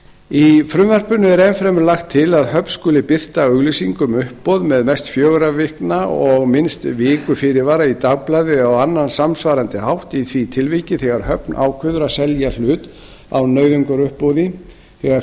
í frumvarpinu er enn fremur lagt til að höfn skuli birta auglýsingu um uppboð með mest fjögurra vikna og minnst viku fyrirvara í dagblaði eða á annan samsvarandi hátt í því tilviki þegar höfn ákveður að selja hlut á nauðungaruppboði þegar